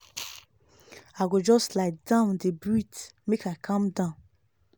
i go just lie down dey breathe make i calm down.